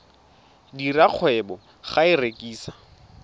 dira kgwebo ka go rekisa